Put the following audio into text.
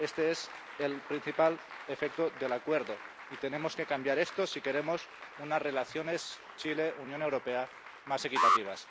Este es el principal efecto del Acuerdo y tenemos que cambiar esto si queremos unas relaciones Chile Unión Europea más equitativas.